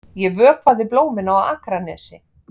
Ég vökvaði blómin á Akranesi.